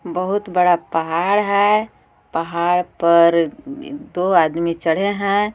बहुत बड़ा पहाड़ है पहाड़ पर दो आदमी चढ़े हैं.